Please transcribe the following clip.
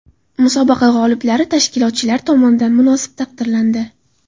Musobaqa g‘oliblari tashkilotchilar tomonidan munosib taqdirlandi.